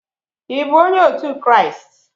ị bụ onye otu Kraịst?